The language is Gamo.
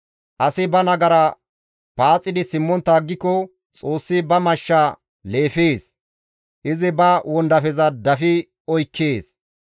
Asi ba nagara paaxidi simmontta aggiko, Xoossi ba mashsha leefees; izi ba wondafeza dafi oykkees.